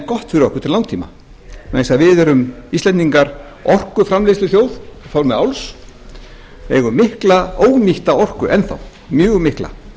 gott fyrir okkur til langtíma vegna þess að við erum íslendingar orkuframleiðsluþjóð í formi áls við eigum mikla ónýtta orku enn þá mjög mikla